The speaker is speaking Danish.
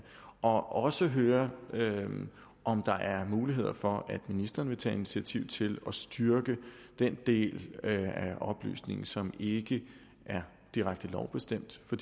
og også høre om der er mulighed for at ministeren vil tage initiativ til at styrke den del af oplysningen som ikke er direkte lovbestemt for